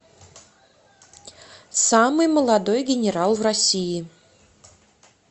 самый молодой генерал в россии